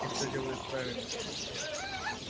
ты всё делаешь правильно